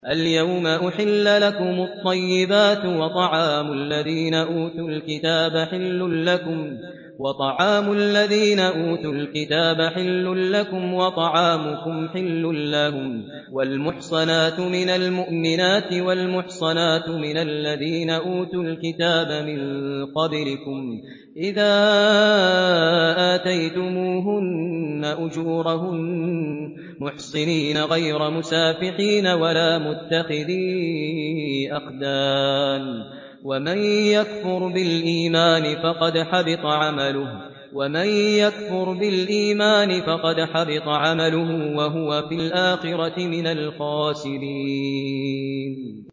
الْيَوْمَ أُحِلَّ لَكُمُ الطَّيِّبَاتُ ۖ وَطَعَامُ الَّذِينَ أُوتُوا الْكِتَابَ حِلٌّ لَّكُمْ وَطَعَامُكُمْ حِلٌّ لَّهُمْ ۖ وَالْمُحْصَنَاتُ مِنَ الْمُؤْمِنَاتِ وَالْمُحْصَنَاتُ مِنَ الَّذِينَ أُوتُوا الْكِتَابَ مِن قَبْلِكُمْ إِذَا آتَيْتُمُوهُنَّ أُجُورَهُنَّ مُحْصِنِينَ غَيْرَ مُسَافِحِينَ وَلَا مُتَّخِذِي أَخْدَانٍ ۗ وَمَن يَكْفُرْ بِالْإِيمَانِ فَقَدْ حَبِطَ عَمَلُهُ وَهُوَ فِي الْآخِرَةِ مِنَ الْخَاسِرِينَ